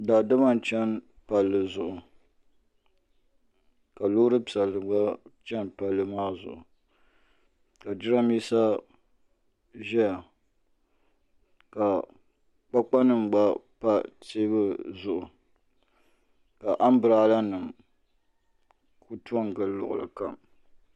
daadama n-cheni ka loori piɛlli gba tam palli maa zuɣu jirambisa ʒeya ka kpakpanima gba pa teebuli zuɣu ka ambrelanima ku tɔ n-gili luɣili kam